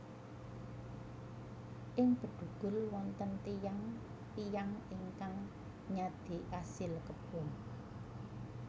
Ing Bedugul wonten tiyang tiyang ingkang nyadé asil kebon